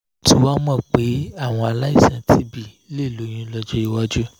mo ti wá mọ̀ pé àwọn aláìsàn tb lè lóyún lọ́jọ́ iwájú